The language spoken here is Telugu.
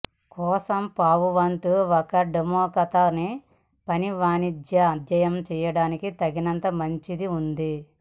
కోసం పావువంతు ఒక డెమో ఖాతా న పని వాణిజ్య అధ్యయనం చేయడానికి తగినంత మంచి ఉంది